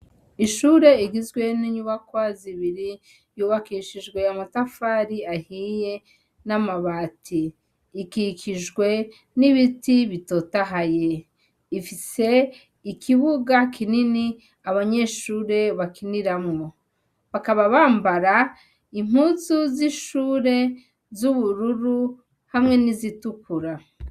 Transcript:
Ishure igizwe n'inyubakwa zibiri yubakishijwe amatafari ahiye n'amabati. Ikikijwe n'ibiti bitotahaye. Ifise ikibuga kinini abanyeshure bakiniramwo. Bakaba bambara impuzu z'ishure z'ubururu hamwe n'izitukura.